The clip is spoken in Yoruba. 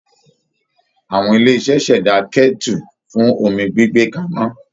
Awọn ilé iṣẹ́ ṣẹ̀dá kẹ́tù fún omi gbígbé kaná